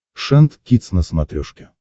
шант кидс на смотрешке